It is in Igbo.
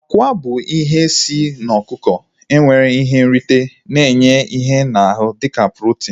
Akwa bụ otu ihe si n'ọkụkọ nwere ihe nrite na-enye ihe n'ahu dịka protin